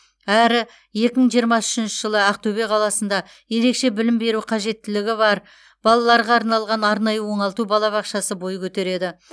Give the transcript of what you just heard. әрі екі мың жиырма үшінші жылы ақтөбе қаласында ерекше білім беру қажеттіліктері бар балаларға арналған арнайы оңалту балабақшасы бойы көтереді